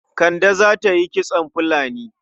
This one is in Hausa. Kande za ta yi kitson filani.